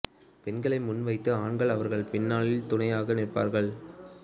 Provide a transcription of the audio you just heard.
பெண்களை முன் வைத்து ஆண்கள் அவர்களின் பின்னால் துணையாக நிற்பார்கள்